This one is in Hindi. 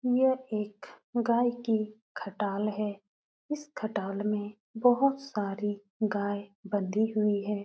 यह एक गाय की खटाल है। इस खटाल में बोहोत सारी गाय बंधी हुई हैं।